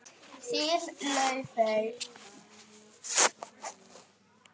Þín, Laufey.